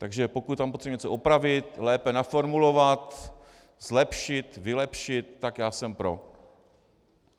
Takže pokud tam potřebujeme něco opravit, lépe naformulovat, zlepšit, vylepšit, tak já jsem pro.